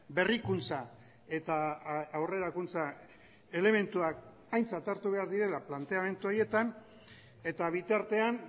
berrikuntza eta aurrerakuntza elementuak aintzat hartu behar direla planteamendu horietan eta bitartean